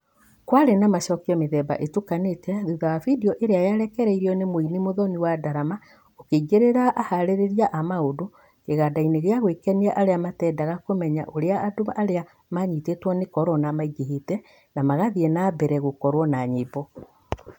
Kwarĩ na macokio mĩthemba ĩtukanĩte thutha wa bideo ĩrĩa yarekereirio nĩ muini Muthoni wa Ndarama ukĩingĩrĩra aharĩrĩria a maundũ, kĩganda-inĩ kĩa gwĩkenia arĩa matendaga kũmenya ũrĩa andũ arĩa manyitĩtwo nĩ korona maingĩhĩte na magathiĩ na mbere gũkorwo na nyĩmbo.